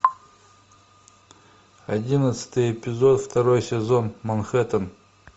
одиннадцатый эпизод второй сезон манхэттен